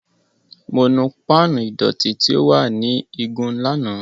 Mo nu pan ìdọ̀tí tí ó wà ní igun lánàá.